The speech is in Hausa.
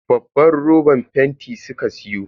Babban roban fenti suka siyo.